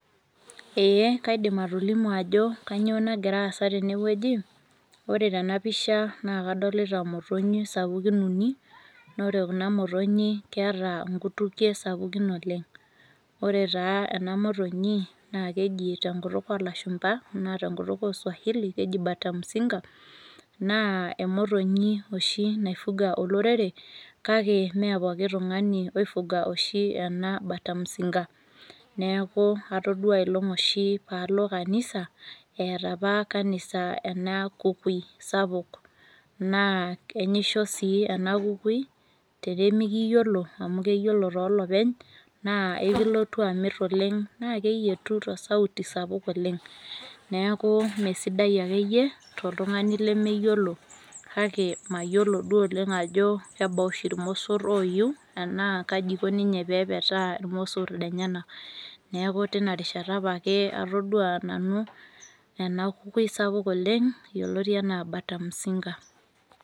Eeh kaidim atolimu ajo kanyoo nagiraasa tenewueji. Ore tenapisha naakadolita motonyi sapukin uni. Noore kuna motonyi keeta nkutukie sapukin oleng'. Ore taa ena motonyi naakeji tenkutuk olashumpa anaa tenkutuk oswahili keji batamzinga naa emotonyi oshi naifuga olorere kake mee pooki tung'ani oifuga oshi ena batamzinga. Neaku atoduaa aelong' oshi paalo kanisa eata apa kanisa ena kukui sapuk naa enyisho sii ena kukui tenemikiyiolo amu keyiolo toolopeny naa eikilotu amirr oleng' naakeyetu tosauti sapuk oleng'. Neakuu meesidai akeiye toltung'ani lemeyiolo kake mayiolo duo oleng' ajo kebaaoshi ilmossor oiyiu anaa kaji eiko ninye pepetaa ilmossor lenyena. Neaku tinarishata apake atoduaa nanu ena kukui sapuk oleng' yoloti anaa batamzinga.